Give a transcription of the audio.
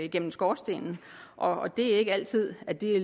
igennem skorstenen og det er ikke altid at det